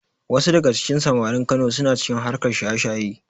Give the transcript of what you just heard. Wasu daga cikin samarin Kano suna cikin harkar shaye-shayen.